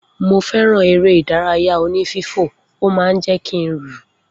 Mo feran eré ìdárayá oní fífò ó man jé kín rù